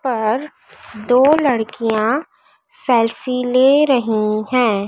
और दो लड़कियां सेल्फी ले रही है।